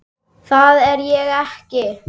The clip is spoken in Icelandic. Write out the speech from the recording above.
Það er ég ekki.